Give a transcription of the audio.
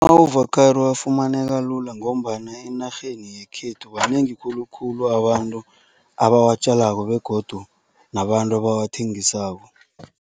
Ama-avokhado afumaneka lula ngombana enarheni yekhethu banengi khulukhulu abantu abawatjalako begodu nabantu abawathengisako.